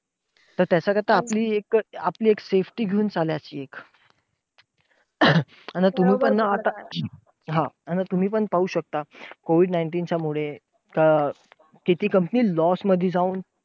तर त्याच्याकरता आपली एक आपली एक safety घेऊन चालायची. आता तुम्ही पण आता कारण तुम्ही पण पाहू शकता, COVID nineteen च्या मुळे किती companies loss मध्ये जाऊन,